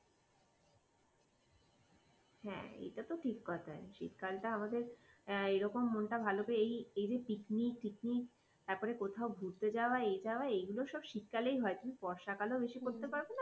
হ্যাঁ, এটা তো ঠিক কথা শীতকালটা আমাদের এরকম মনটা ভালো করে এই যে পিকনিক ফিকনিক তারপর কোথাও ঘুরতে যাওয়া এ যাওয়া এগুলো সব শীতকালেই হয়। তুমি বর্ষাকালেও বেশি করতে পারবে না